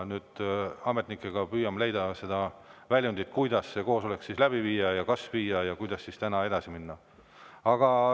Koos ametnikega me püüame leida väljundit, kuidas see koosolek läbi viia ja kas viia ja kuidas täna edasi minna.